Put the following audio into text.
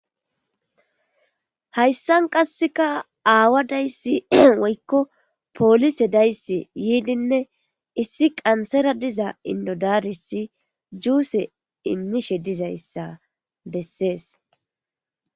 Hayissanni qasekka awaa dayissi woyikko polisse dayissi yidinne issi qansara diza indo daris juse issi ayessi imishe des